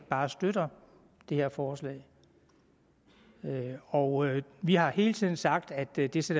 bare støtter det her forslag og vi har hele tiden sagt at det det sår